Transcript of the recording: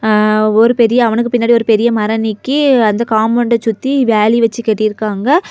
அ ஒரு பெரிய அவனுக்கு பின்னாடி ஒரு பெரிய மரம் நிக்கி அந்த காம்பவுண்டு சுத்தி வேலி வெச்சி கட்டிருக்காங்க.